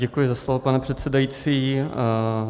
Děkuji za slovo, pane předsedající.